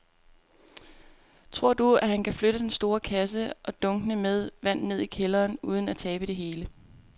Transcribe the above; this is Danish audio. Tror du, at han kan flytte den store kasse og dunkene med vand ned i kælderen uden at tabe det hele?